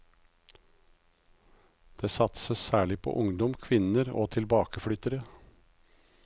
Det satses særlig på ungdom, kvinner og tilbakeflyttere.